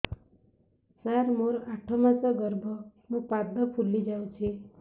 ସାର ମୋର ଆଠ ମାସ ଗର୍ଭ ମୋ ପାଦ ଫୁଲିଯାଉଛି